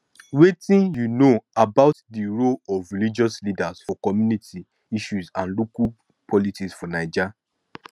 wetin you know about di role of religious leaders for community issues and local politics for naija